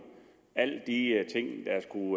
alle de er